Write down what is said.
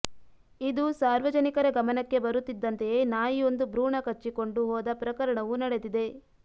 ಇದು ಸಾರ್ವಜನಿಕರ ಗಮನಕ್ಕೆ ಬರುತ್ತಿದ್ದಂತೆಯೇ ನಾಯಿಯೊಂದು ಭ್ರೂಣ ಕಚ್ಚಿಕೊಂಡು ಹೋದ ಪ್ರಕರಣವೂ ನಡೆದಿದೆ